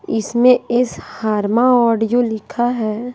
इसमें इस हार्मा ऑडियो लिखा है।